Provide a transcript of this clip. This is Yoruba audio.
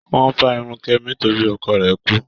Kẹ́mi's hair was shaved because her husband died.